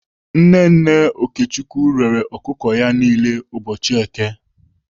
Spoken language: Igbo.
Nne nne Okechukwu rere ọkụkọ ya niile n'ụbọchị èké.